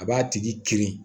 A b'a tigi kirin